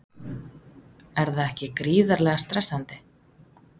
Er það ekki gríðarlega stressandi?